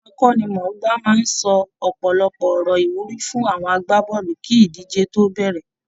Àwọn akọ́nimọ̀ọ́gbá ti máa ń sọ ọ̀pọ̀lọpọ̀ ọ̀rọ̀ ìwúrí fún àwọn agbábọ́ọ̀lù kí idiíjé tó bẹ̀rẹ̀